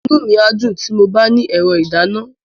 Inú mi á dùn tí mo bá ní ẹ̀rọ ìdáná.